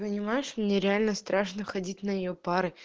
понимаешь мне реально страшно ходить на её пары